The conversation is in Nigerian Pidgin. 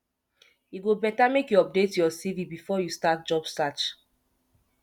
e go better make you update your cv before you start job search